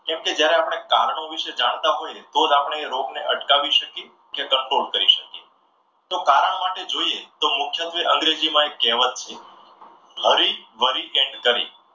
કેમ કે જ્યારે આપણે કારણો વિશે જાણતા હોય તો જ આપણે એ રોગને અટકાવી શકીએ કે control કરી શકીએ. તો કારણ માટે જોઈએ તો મુખ્યત્વે અંગ્રેજીમાં એક કહેવત છે.